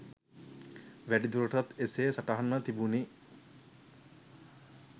වැඩිදුරටත් එසේ සටහන්ව තිබුණි.